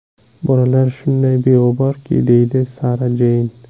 Bolalar shunday beg‘uborki”, deydi Sara Jeyn.